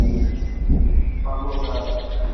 павлодар